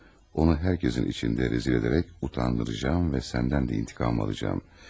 Onu hər kəsin içində rəzil edərək utandıracağam və səndən də intiqam alacağam.